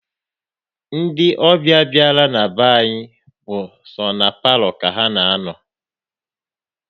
Ndị ọbịa bịara be anyị bụ so ná palo ka ha na-anọ